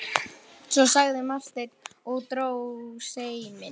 Svo, sagði Marteinn og dró seiminn.